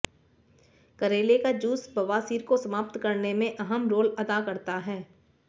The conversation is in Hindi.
करेले का जूस बवासीर को समाप्त करने में अहम रोल अदा करता है